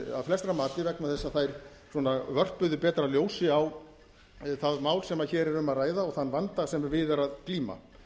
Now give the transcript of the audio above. að flestra mati vegna þess að þær svona vörpuðu betra ljósi á það mál sem hér er um að ræða og þann vanda sem við er að glíma